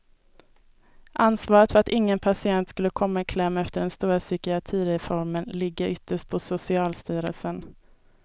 Ansvaret för att ingen patient skulle komma i kläm efter den stora psykiatrireformen ligger ytterst på socialstyrelsen.